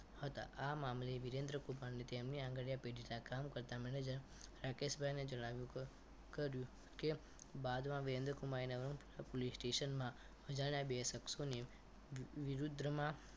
હતા આ મામલે વિરેન્દ્રકુમાર તેમની આંગણીયા પેઢી ના કામ કરતા manager રાકેશભાઈ ને જણાવ્યું કર્યું કે બાદમાં વિરેન્દ્રકુમારે નવરંગપુરા પોલીસ સ્ટેશનમાં અજાણે બે શખ્સો ની વિરૂદ્રમાં